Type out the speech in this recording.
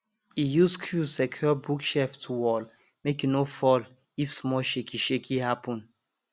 e use screw secure bookshelf to wall make e no fall if small shakeyshakey happen